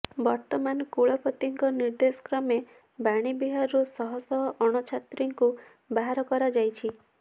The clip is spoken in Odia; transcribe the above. ବର୍ତ୍ତମାନ କୁଳପତିଙ୍କ ନିର୍ଦ୍ଦେଶ କ୍ରମେ ବାଣୀବିହାରରୁ ଶହ ଶହ ଅଣଛାତ୍ରଙ୍କୁ ବାହାର କରାଯାଇଛି